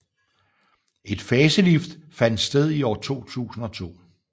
Et facelift fandt sted i år 2002